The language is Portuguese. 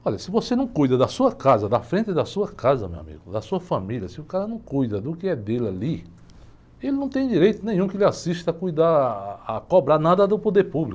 Olha, se você não cuida da sua casa, da frente da sua casa, meu amigo, da sua família, se o cara não cuida do que é dele ali, ele não tem direito nenhum lhe assista a cuidar, a cobrar nada do poder público.